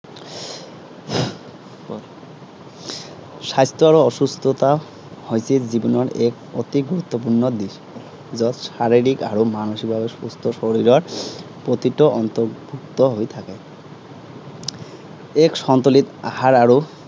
স্বাস্থ্য আৰু অসুস্থতা হৈছে জীৱনৰ এক অতি গুৰুত্বপূৰ্ণ দিশ। যত শাৰিৰীক আৰু মানসিক ভাৱে সুস্থ শৰীৰৰ প্ৰতিটো অৰ্ন্তভুক্ত হৈ থাকে। এক সন্তুোলিত আহাৰ আৰু